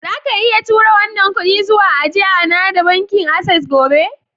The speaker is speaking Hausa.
Zaka iya tura wannan kudi zuwa ajia na da bankin access gobe?